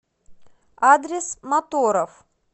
адрес моторов